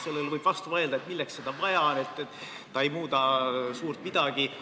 Sellele võib vastu vaielda, et milleks seda vaja on, ta ei muuda suurt midagi.